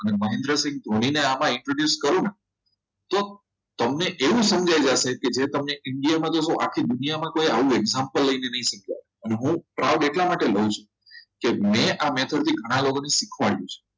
મહેન્દ્રસિંહ ધોની ને આમાં introduce કરું ને તો તમને એવું સમજાય જશે જે તમને india દેખો આખી દુનિયામાં કોઈ આવું કોઈ example લઈને નહી શીખવે કે હું proud એટલા માટે લઉં છું કે મેં આ method ઘણા લોકોને શીખવાડ્યું છે